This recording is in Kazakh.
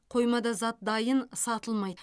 қоймада зат дайын сатылмайды